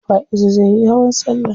Faizu zai yi hawan salla.